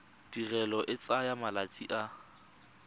tirelo e tsaya malatsi a